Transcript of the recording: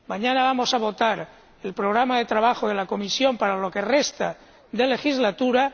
Mañana vamos a votar el programa de trabajo de la Comisión para lo que queda de legislatura.